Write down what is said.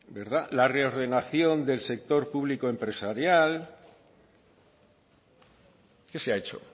la reordenación del sector público empresarial qué se ha hecho